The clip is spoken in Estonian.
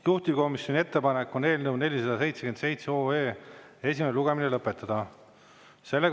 Juhtivkomisjoni ettepanek on eelnõu 477 esimene lugemine lõpetada.